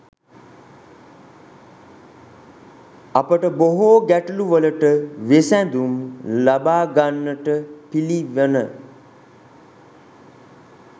අපට බොහෝ ගැටලුවලට විසැඳුම් ලබා ගන්නට පිළිවන.